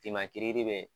Finman tiri bɛ